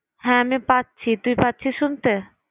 হ্যাঁ আমি পাচ্ছি। তুই পাচ্ছিস শুনতে?